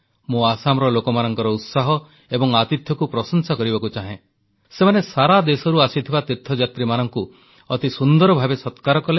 ମୁଁ ଆସାମର ଲୋକମାନଙ୍କର ଉତ୍ସାହ ଏବଂ ଆତିଥ୍ୟକୁ ପ୍ରଶଂସା କରିବାକୁ ଚାହେଁ ସେମାନେ ସାରା ଦେଶରୁ ଆସିଥିବା ତୀର୍ଥଯାତ୍ରୀମାନଙ୍କୁ ଅତି ସୁନ୍ଦର ଭାବେ ସକ୍ରାର କଲେ